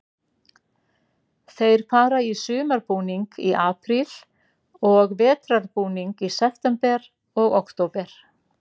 Þeir fara í sumarbúning í apríl og vetrarbúning í september og október.